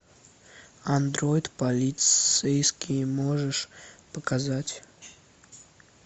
андроид полицейский можешь показать